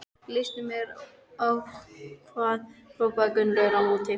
Líst mér á hvað? hrópaði Gunnlaugur á móti.